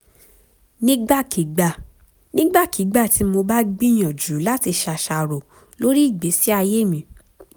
nígbàkigbà nígbàkigbà tí mo bá gbìyànjú láti ṣàṣàrò lórí ìgbésí ayé mi